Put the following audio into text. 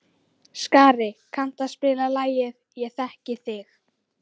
Skari, kanntu að spila lagið „Ég þekki þig“?